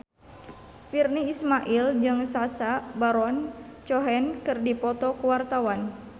Virnie Ismail jeung Sacha Baron Cohen keur dipoto ku wartawan